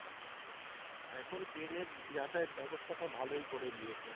এখন train এর যাতায়াত ব্যাবস্থাটা ভালোই করে দিয়েছে।,